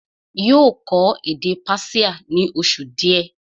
yóò kọ́ èdè Persia ní oṣù díẹ̀